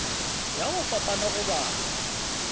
ya go fapana go balwa